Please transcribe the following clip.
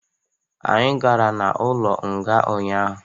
Anyi gara n'ụlo nga ahu ụnyaahụ